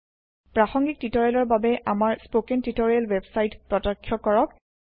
প্ৰাসংগীক টিওটৰিয়েলৰ বাবে আমাৰ স্পৌকেন টিওটৰিয়েল ৱেবসাইট প্ৰত্যক্ষ কৰক